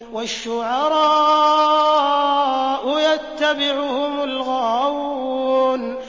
وَالشُّعَرَاءُ يَتَّبِعُهُمُ الْغَاوُونَ